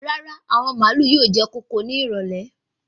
Rárá, àwọn màálù yóò jẹ kóko ní ìrọ̀lẹ́